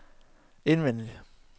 indvendig